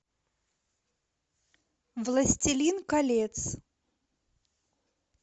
властелин колец